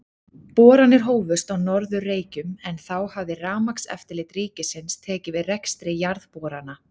Boranir hófust á Norður-Reykjum, en þá hafði Rafmagnseftirlit ríkisins tekið við rekstri jarðborana.